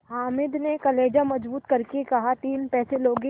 हामिद ने कलेजा मजबूत करके कहातीन पैसे लोगे